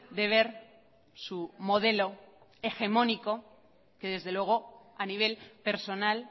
de ver su modelo hegemónico que desde luego a nivel personal